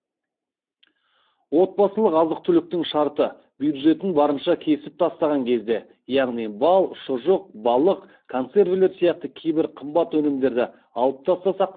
отбасылық азық түліктің шарты бюджетін барынша кесіп тастаған кезде яғни бал шұжық балық консервілер сияқты кейбір қымбат өнімдерді алып тастасақ